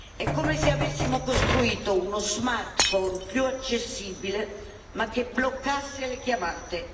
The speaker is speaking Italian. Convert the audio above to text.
È come se avessimo costruito uno smartphone più accessibile, ma che bloccasse le chiamate.